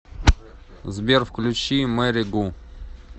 сбер включи мэри гу